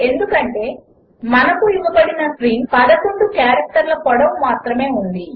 ఎందుకంటే మనకు ఇవ్వబడిన స్ట్రింగ్ 11 క్యారెక్టర్ల పొడవు మాత్రమే ఉంది